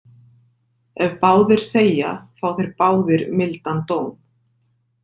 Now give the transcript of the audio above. Ef báðir þegja fá þeir báðir mildan dóm.